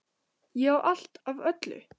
Ég á allt af öllu!